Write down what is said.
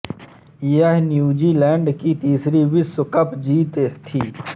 यह न्यूज़ीलैंड की तीसरी विश्व कप जीत थी